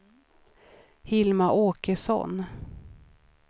Hilma Åkesson